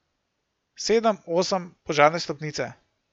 Sedem, osem, požarne stopnice.